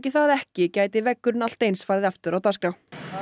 það ekki gæti veggurinn allt eins farið aftur á dagskrá